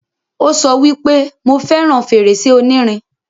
Ó sọ wípé, 'Mo fẹràn fèrèsé onírin'